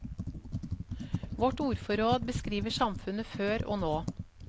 Vårt ordforråd beskriver samfunnet før og nå.